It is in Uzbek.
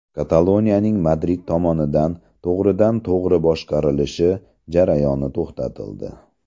Kataloniyaning Madrid tomonidan to‘g‘ridan-to‘g‘ri boshqarilishi jarayoni to‘xtatildi.